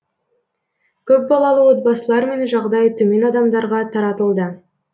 көпбалалы отбасылар мен жағдайы төмен адамдарға таратылды